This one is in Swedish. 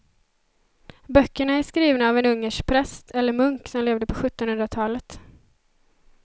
Böckerna är skrivna av en ungersk präst eller munk som levde på sjuttonhundratalet.